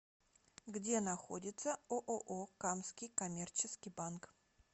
где находится ооо камский коммерческий банк